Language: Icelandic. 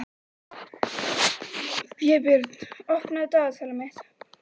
Vébjörn, opnaðu dagatalið mitt.